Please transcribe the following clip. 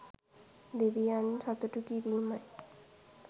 දෙවියන් සතුටු කිරීමයි.